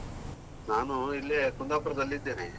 ನಾನು ಇಲ್ಲೆ ಕುಂದಾಪುರದಲ್ಲಿ ಇದ್ದೇನೆ.